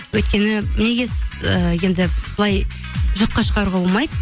өйткені неге ыыы енді былай жоққа шығаруға болмайды